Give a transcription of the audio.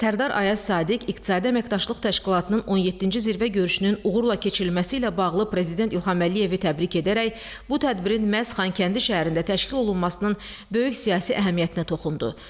Sərdar Ayaz Sadiq İqtisadi Əməkdaşlıq Təşkilatının 17-ci Zirvə görüşünün uğurla keçirilməsi ilə bağlı Prezident İlham Əliyevi təbrik edərək bu tədbirin məhz Xankəndi şəhərində təşkil olunmasının böyük siyasi əhəmiyyətinə toxundu.